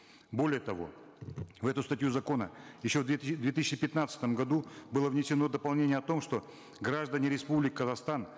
более того в эту статью закона еще в две в две тысячи пятнадцатом году было внесено дополнение о том что граждане республики казахстан